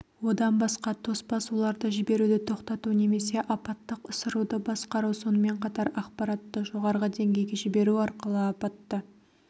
одан басқа тоспа суларды жіберуді тоқтату немесе апаттық ысыруды басқару сонымен қатар ақпаратты жоғарғы деңгейге жіберу арқылы апатты